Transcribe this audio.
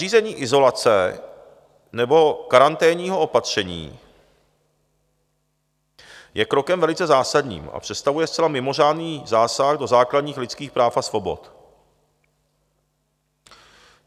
Nařízení izolace nebo karanténního opatření je krokem velice zásadním a představuje zcela mimořádný zásah do základních lidských práv a svobod.